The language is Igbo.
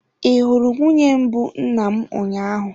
Ị hụrụ nwunye mbụ nna m ụnyaahụ?